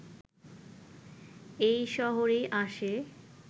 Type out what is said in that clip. এই শহরেই আসে